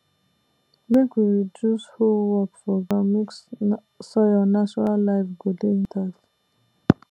make we reduce hoe work for ground mek soil natural life go dey intact